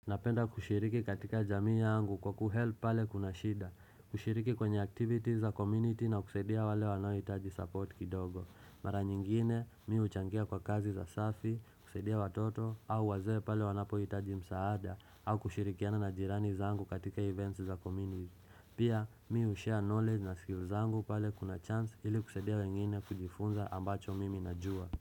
Napenda kushiriki katika jamii yangu kwa kuhelp pale kuna shida kushiriki kwenye activities za community na kusaidia wale wanoitaji support kidogo Mara nyingine mimi uchangia kwa kazi za safi, kusaidia watoto au waze pale wanapo hitaji msaada au kushirikiana na jirani za zangu katika events za community Pia mimi ushare knowledge na skills zangu pale kuna chance ili kusaidia wengine kujifunza ambacho mimi najua.